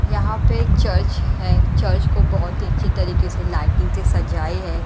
यहां पे एक चर्च है चर्च को बहुत ही अच्छे तरीके से लाइटिंग से सजाए है।